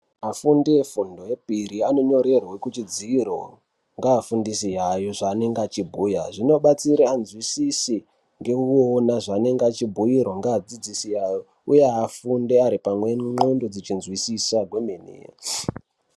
Afundi efundo yechipiri anonyorerwe kuchidziro ngeafundisi ayo zvavanenge achibhuya zvinobatsira anzwisise nekuona zvavanenge achibhiirwa achidzidziswa ngeadzidzisi ake uye fundi ari pane ndxondo dzinozwisisa kwemene